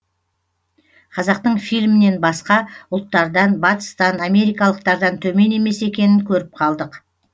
қазақтың фильмінен басқа ұлттардан батыстан америкалықтардан төмен емес екенін көріп қалдық